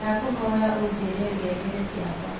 Ndakũhoya unjĩre ngengere cĩakwa